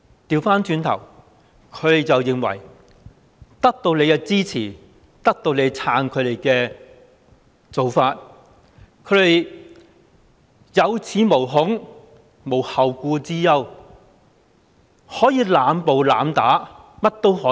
相反，他們認為得到政府的支持，政府撐他們的做法，他們有恃無恐，無後顧之憂，可以濫暴、濫打，為所欲為。